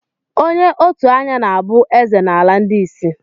Onye òtù anya na-abụ ezé n'ala ndị ịsị.